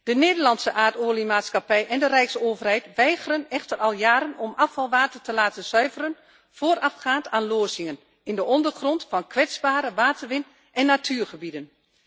De Nederlandse Aardolie Maatschappij en de rijksoverheid weigeren echter al jaren om afvalwater te laten zuiveren voorafgaand aan lozingen in de ondergrond van kwetsbare waterwin en natuurgebieden.